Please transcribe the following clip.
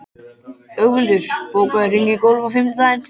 Ögmundur, bókaðu hring í golf á fimmtudaginn.